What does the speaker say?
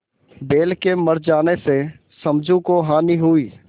बैल के मर जाने से समझू को हानि हुई